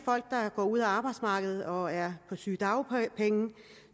folk der går ud af arbejdsmarkedet og som er på sygedagpenge